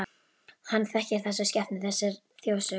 Hann þekkir þessa skepnu, þessa þjóðsögu.